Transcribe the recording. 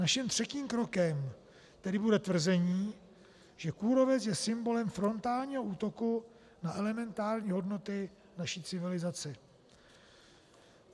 Naším třetím krokem tedy bude tvrzení, že kůrovec je symbolem frontálního útoku na elementární hodnoty naší civilizace.